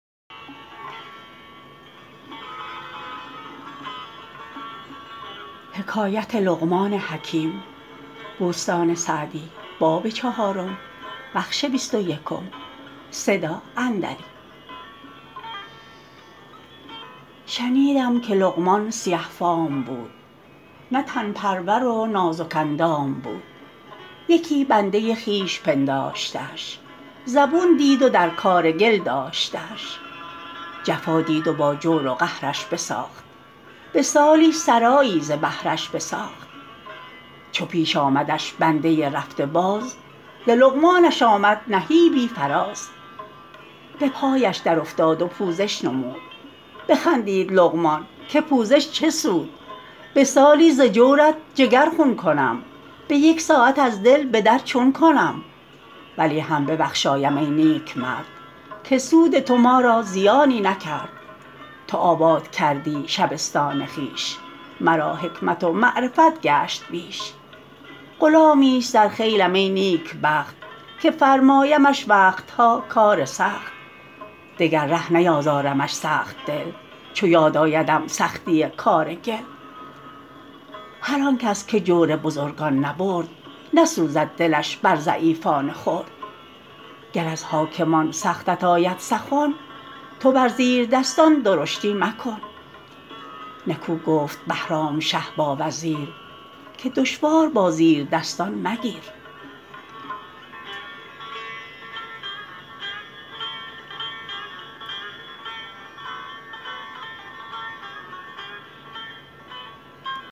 شنیدم که لقمان سیه فام بود نه تن پرور و نازک اندام بود یکی بنده خویش پنداشتش زبون دید و در کار گل داشتش جفا دید و با جور و قهرش بساخت به سالی سرایی ز بهرش بساخت چو پیش آمدش بنده رفته باز ز لقمانش آمد نهیبی فراز به پایش در افتاد و پوزش نمود بخندید لقمان که پوزش چه سود به سالی ز جورت جگر خون کنم به یک ساعت از دل به در چون کنم ولی هم ببخشایم ای نیک مرد که سود تو ما را زیانی نکرد تو آباد کردی شبستان خویش مرا حکمت و معرفت گشت بیش غلامی است در خیلم ای نیک بخت که فرمایمش وقت ها کار سخت دگر ره نیازارمش سخت دل چو یاد آیدم سختی کار گل هر آن کس که جور بزرگان نبرد نسوزد دلش بر ضعیفان خرد گر از حاکمان سختت آید سخن تو بر زیردستان درشتی مکن نکو گفت بهرام شه با وزیر که دشوار با زیردستان مگیر